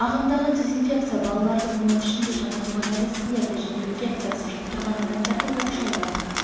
ағымдағы дезинфекция балаларды оның ішінде жаңа туған нәрестелерді және инфекциясын жұқтырған адамдарды оқшаулау